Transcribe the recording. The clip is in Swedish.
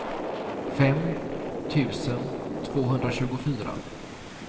fem tusen tvåhundratjugofyra